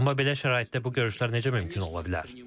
Amma belə şəraitdə bu görüşlər necə mümkün ola bilər?